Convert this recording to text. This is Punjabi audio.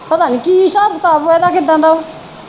ਪਤਾ ਨਹੀਂ ਕੀ ਹਿਸਾਬ ਕਿਤਾਬ ਵਾ ਇਹਦਾ ਕਿਦਾ ਦਾ ਵਾ